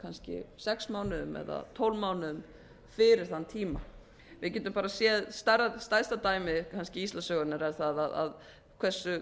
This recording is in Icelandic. kannski sex mánuðum eða tólf mánuðum fyrir þann kom við gætum ara séð stærsta dæmið kannski íslandssögunnar er það að hversu